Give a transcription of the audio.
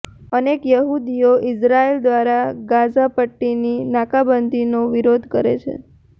અનેક યહૂદીઓ ઇઝરાયલ દ્વારા ગાઝા પટ્ટીની નાકાબંધીનો વિરોધ કરે છે